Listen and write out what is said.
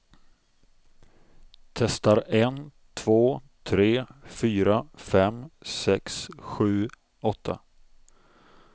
Testar en två tre fyra fem sex sju åtta.